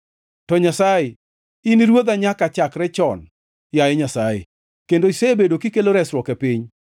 To Nyasaye in e Ruodha nyaka chakre chon, yaye Nyasaye, kendo isebedo kikelo resruok e piny.